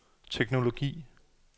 teknologi